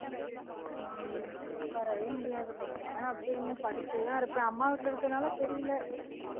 உட்காரவே முடியாது கொஞ்ச நேரம் அப்படியே இன்னும் படுத்தேதான் இருப்பேன் அம்மா வீட்டுல இருக்குறதுனால தெரியலே